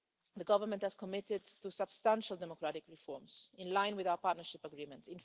The government has committed to substantial democratic reforms in line with our partnership agreement.